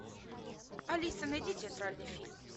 алиса найди театральный фильм